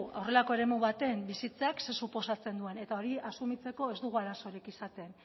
horrelako eremu baten bizitzeak zer suposatzen duen eta hori asumitzeko ez dugu arazorik izaten